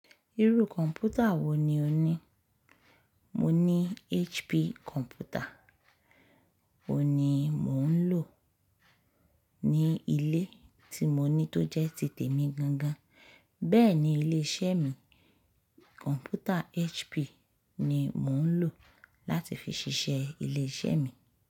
Irú kọ̀m̀pútà wo ni o ní? Mo ní HP kọ̀m̀pútà, òun ni mò ń lò ní ilé tí mo ní tó jẹ́ títè mi gan gan, bẹ́ẹ̀ ni ilé iṣẹ́ mi, kọ̀m̀pútà HP ni mò ń lò láti fi ṣiṣẹ́ ilé iṣẹ́ mi.